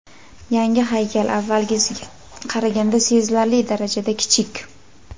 Yangi haykal avvalgisiga qaraganda sezilarli darajada kichik.